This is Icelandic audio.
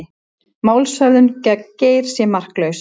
Málshöfðun gegn Geir sé marklaus